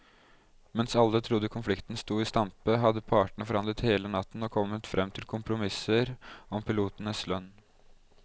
Mens alle trodde konflikten sto i stampe, hadde partene forhandlet hele natten og kommet frem til kompromisser om pilotenes lønn.